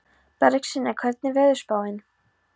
Bergsveina, hvernig er veðurspáin?